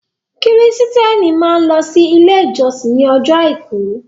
Kristiẹni máa ń lọ sí ilé ìjósìn ní ọjọ́ àìkú.